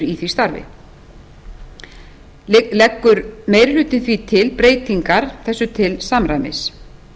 í því starfi leggur meiri hlutinn því til breytingar þessu til samræmis